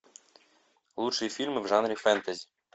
лучшие фильмы в жанре фэнтези